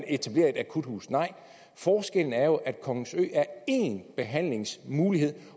etableret et akuthus nej forskellen er jo at kongens ø er én behandlingsmulighed